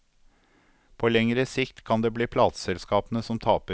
På lengre sikt kan det bli plateselskapene som taper.